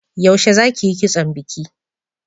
Yaushe za ki yi kitson biki?